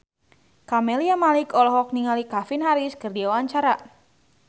Camelia Malik olohok ningali Calvin Harris keur diwawancara